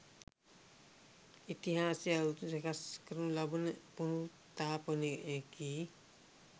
ඉතිහාසය අලුතින් සකස් කරනු ලබන පුනරුත්ථාපනයකි